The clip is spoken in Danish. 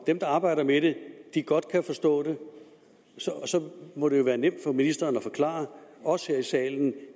der arbejder med det godt kan forstå det må det jo være nemt for ministeren at forklare os her i salen